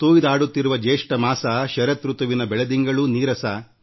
ಚಳಿಗಾಲದ ಬೆಳದಿಂಗಳೂ ನೀರಸ